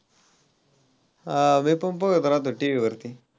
हां मी पण पहात रहातो TV वरती.